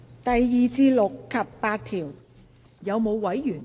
第2至6及8條。